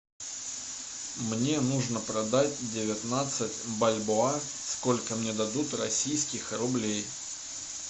мне нужно продать девятнадцать бальбоа сколько мне дадут российских рублей